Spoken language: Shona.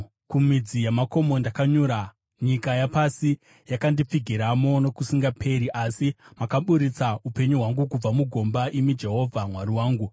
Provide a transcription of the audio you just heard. Kumidzi yamakomo ndakanyura; nyika yapasi yakandipfigiramo nokusingaperi. Asi makaburitsa upenyu hwangu kubva mugomba, imi Jehovha Mwari wangu.